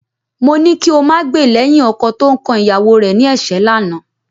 Mo ní kí o máa gbè lẹ́yìn ọkọ tó ń kan ìyàwó rẹ ní ẹ̀ṣẹ́ lánàá